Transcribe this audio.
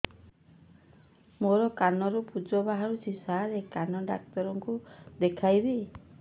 ମୋ କାନରୁ ପୁଜ ବାହାରୁଛି ସାର କାନ ଡକ୍ଟର କୁ ଦେଖାଇବି